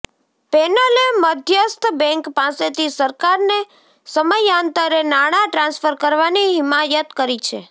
પેનલે મધ્યસ્થ બેન્ક પાસેથી સરકારને સમયાંતરે નાણાં ટ્રાન્સફર કરવાની હિમાયત કરી છે